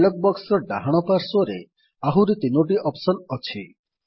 dialogue box ର ଡାହାଣ ପାର୍ଶ୍ୱରେ ଆହୁରି ତିନୋଟି ଅପ୍ସନ୍ ଅଛି